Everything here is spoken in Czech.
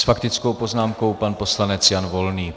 S faktickou poznámkou pan poslanec Jan Volný.